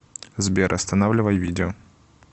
сбер останавливай видео